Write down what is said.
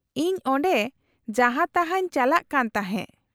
-ᱤᱧ ᱚᱸᱰᱮ ᱡᱟᱦᱟᱸ ᱛᱟᱦᱟᱸᱧ ᱪᱟᱞᱟᱜ ᱠᱟᱱ ᱛᱟᱦᱮᱸ ᱾